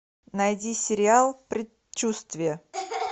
найди сериал предчувствие